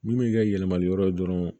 Minnu bɛ kɛ yɛlɛmali yɔrɔ ye dɔrɔn